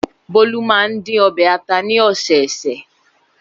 Bólú máa ń dín ọbẹ̀ ata ní ọ̀sẹ̀ẹ̀sẹ̀.